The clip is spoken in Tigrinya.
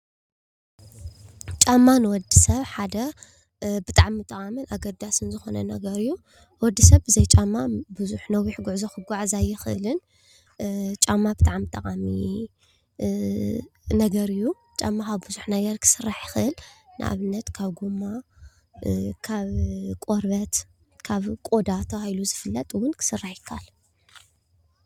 ጫማ ንወዲ ሰብ ሓደ ብጣዕሚ ጠቓምን ኣገዳስን ዝኾነ ነገር እዩ። ወዲ ሰብ ብዘይ ጫማ ብዙሕ ነዊሕ ጉዕዞ ክጉዓዝ ኣይኽእልን። ጫማ ብጣዕሚ ጠቓሚ ነገር እዩ። ጫማ ካብ ብዙሕ ነገር ክስራሕ ይኽእል። ንኣብነት ካብ ጎማ፣ ካብ ቆርበት፣ ካብ ቆዳ ተባሂሉ ዝፍለጥ እውን ክስራሕ ይከኣል።